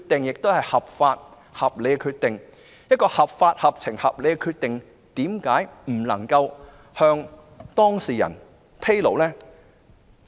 如其決定合法、合情、合理，為何不能向當事人披露？